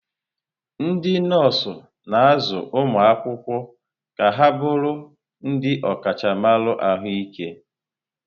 Ndị nọọsụ na-azụ ụmụ akwụkwọ ka ha bụrụ ndị ọkachamara ahụike.